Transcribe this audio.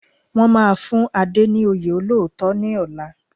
Wọ́n máa fún Ade ní oyè olóòótọ́ ní ọ̀la